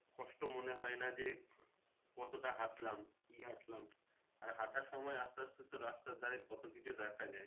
কষ্ট মনে হয় না যে কতটা হাঁটলাম কি হাঁটলাম আর হাঁটার সময় আসতে আসতে তো রাস্তার ধারে কত কিছু দেখা যায়।